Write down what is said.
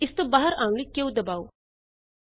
ਇਸ ਤੋਂ ਬਾਹਰ ਆਉਣ ਲਈ q ਦਬਾਓ